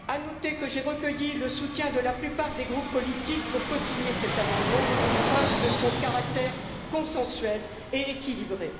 Il est à noter que j'ai recueilli le soutien de la plupart des groupes politiques pour cosigner cet amendement, preuve de son caractère consensuel et équilibré.